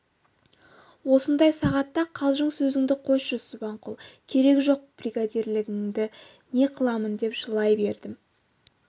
осындай сағатта қалжың сөзіңді қойшы субанқұл керегі жоқ бригадирлігіңді не қыламын деп жылай бердім